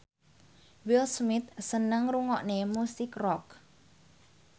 Will Smith seneng ngrungokne musik rock